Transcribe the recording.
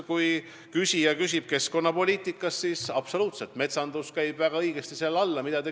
Kui küsija küsib keskkonnapoliitika kohta, siis tõsi on see, et metsandus käib selle alla.